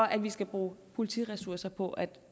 at vi skal bruge politiressourcer på at